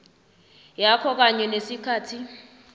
yakho kanye nesikhathi